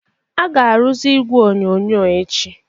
A ga-arụzi igwe onyonyo echi